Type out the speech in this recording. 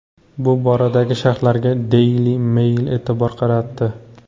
Bu boradagi sharhlarga Daily Mail e’tibor qaratdi.